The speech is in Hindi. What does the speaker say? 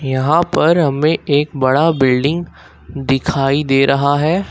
यहां पर हमें एक बड़ा बिल्डिंग दिखाई दे रहा है।